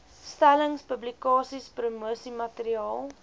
stellings publikasies promosiemateriaal